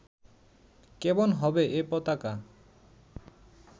কেমন হবে এ পতাকা